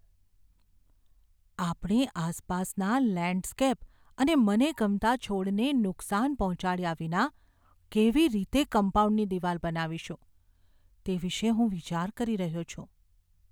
આપણે આસપાસના લેન્ડસ્કેપ અને મને ગમતા છોડને નુકસાન પહોંચાડ્યા વિના કેવી રીતે કમ્પાઉન્ડની દિવાલ બનાવીશું તે વિશે હું વિચાર કરી રહ્યો છું.